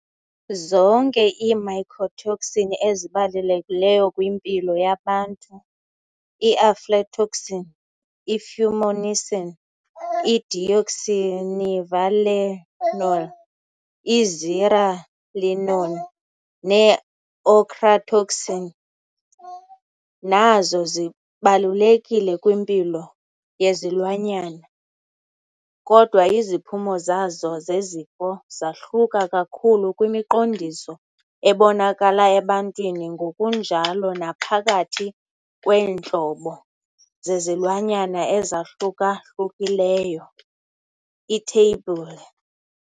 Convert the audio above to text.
Zonke ii-mycotoxin ezibalulekileyo kwimpilo yabantu, i-aflatoxin, i-fumonisin, i-deoxynivalenol, i-zearalenone ne-ochratoxinA, nazo zikwabalulekile kwimpilo yezilwanyana, kodwa iziphumo zazo zezifo zahluka kakhulu kwimiqondiso ebonakala ebantwini ngokunjalo naphakathi kweentlobo zezilwanyana ezahluka-hlukileyo, iTheyibhule.